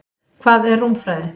Hvað er rúmfræði?